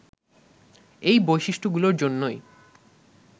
এই বৈশিষ্ট্যগুলোর জন্যই